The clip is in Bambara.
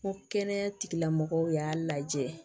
N ko kɛnɛya tigilamɔgɔw y'a lajɛ